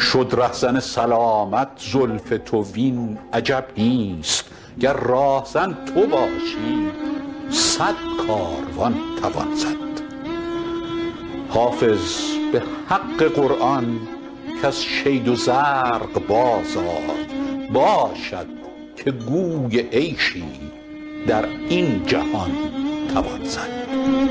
شد رهزن سلامت زلف تو وین عجب نیست گر راهزن تو باشی صد کاروان توان زد حافظ به حق قرآن کز شید و زرق بازآی باشد که گوی عیشی در این جهان توان زد